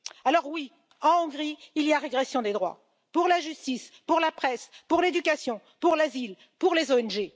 Alors oui, en Hongrie, il y a une régression des droits pour la justice, pour la presse, pour l'éducation, pour l'asile, pour les ONG.